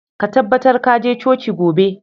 Ka tabbatar ka je coci gobe!